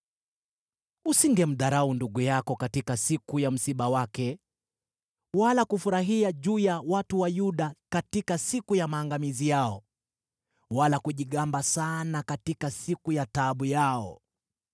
Usingemdharau ndugu yako katika siku ya msiba wake, wala kufurahia juu ya watu wa Yuda katika siku ya maangamizi yao, wala kujigamba sana katika siku ya taabu yao.